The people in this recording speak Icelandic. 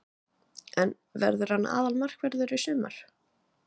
En verður hann aðalmarkvörður í sumar?